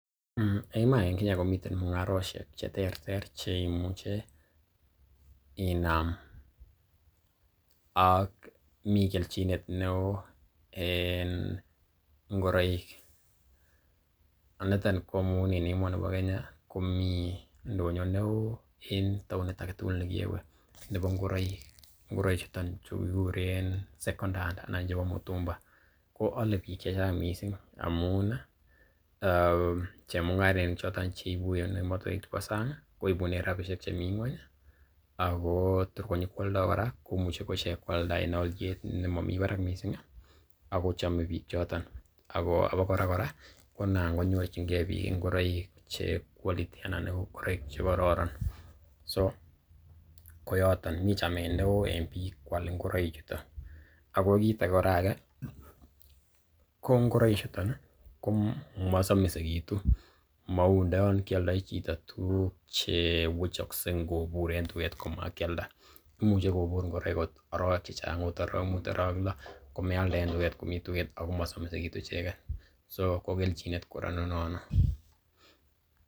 Eiy iman en Kenya komiten mung'arosiek che terter che imuche inaam. Ak mi kelchinet neo en ngoroik, nitonko amun en emoni bo Kenya komi ndonyo neo en tanit age tuugl nekewe nebo ngoroik. Ngoroik chuton chu kiguren second hand anan ko mitumba ko ale biik che chang kot mising amun ii chemung'arainik choton ch eiu en emotinwek chbeo sang koibunen rabishek che mi ng'weny ago tor konyikwoldo kora komuche ichek koaldaen olyet nemomi barak mising ago chome biik choton ago abakora kora konan konyorchinge biik ngoroik che quality anan ingoroik che kororon so koyoton, mi chamet neo en biik koal ngoroikchuton. Ago kiit age kora age ko ngoichuto ko masomisegitu. Mou ndo yon kealdai chito tuguk che wechokse ngobur en tuget komakialda. Imuche kobur ngoroik agot arawek che chnag agot arawek mut araweklo komealda en tuget komi tuget ago mosomisegitu icheget, so ko kelchinet kora nono.